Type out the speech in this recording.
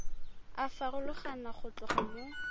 a farologana go tloga mo